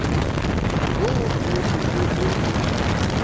yo o rego ge o